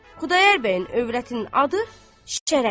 Xudayar bəyin övrətinin adı Şərəfdir.